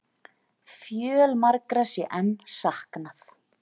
Fjölmargra sé enn saknað